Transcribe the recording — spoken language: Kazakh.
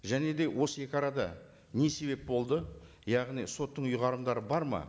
және де осы екі арада не себеп болды яғни соттың ұйғарымдары бар ма